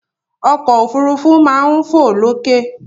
Ọkọ̀ òfurufú máa ń fo lókè.